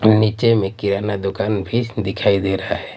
नीचे में किराना दुकान भी दिखाई दे रहा है।